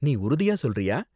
நீ உறுதியா சொல்றியா?